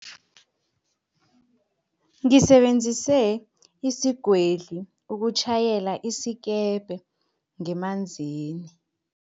Ngisebenzise isigwedli ukutjhayela isikepe ngemanzini.